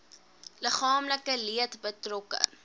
liggaamlike leed betrokke